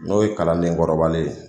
N'o ye kalanden kɔrɔbalen ye